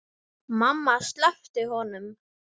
Mamma sleppti honum.